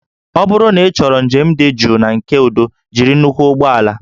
Ọ bụrụ na ịchọrọ njem dị jụụ na nke udo jiri nnukwu ụgbọ ala